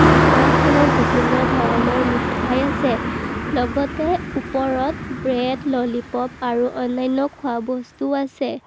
দোকানখনত বিভিন্ন ধৰণৰ মিঠাই আছে লগতে ওপৰত ব্ৰেড ললিপপ আৰু অন্যান্য খোৱাবস্তু আছে।